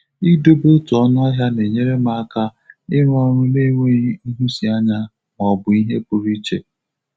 Idobe otu ọnụahia na-enyere m aka irụ ọrụ na-enweghi nhụsianya ma ọ bụ ihe pụrụ iche.